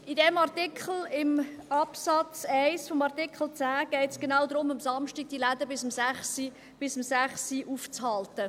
In diesem Artikel, in Absatz 1 von Artikel 10, geht es genau darum, die Läden samstags bis 18 Uhr geöffnet zu halten.